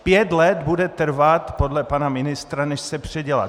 Pět let bude trvat podle pana ministra, než se předělá.